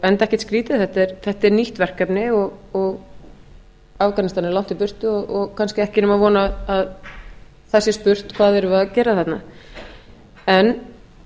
enda ekkert skrýtið þetta er nýtt verkefni og afganistan er langt í burtu og kannski ekki nema von að það sé spurt hvað við séum að gera þarna en